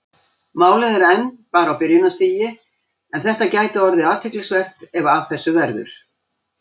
Málið er enn bara á byrjunarstigi en þetta gæti orðið athyglisvert ef af þessu verður.